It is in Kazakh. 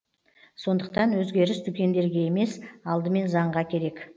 сондықтан өзгеріс дүкендерге емес алдымен заңға керек